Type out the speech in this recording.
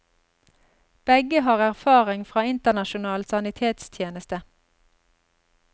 Begge har erfaring fra internasjonal sanitetstjeneste.